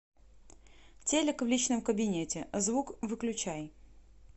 телик в личном кабинете звук выключай